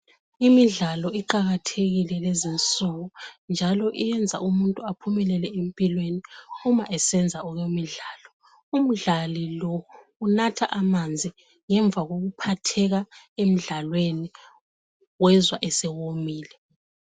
Imidlalo iqakathekile lezi insuku njalo iyenza umuntu aphumelele empilweni uma esenza okwemidlalo, umdlali lo unatha amanzi ngemva kokuphatheka emdlalweni wezwa esewomile.